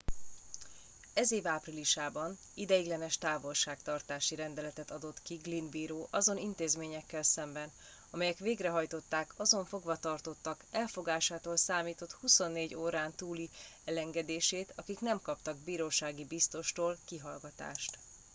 ez év áprilisában ideiglenes távolságtartási rendeletet adott ki glynn bíró azon intézményekkel szemben amelyek végrehajtották azon fogvatartottak elfogástól számított 24 órán túli elengedését akik nem kaptak birósági biztostól kihallgatást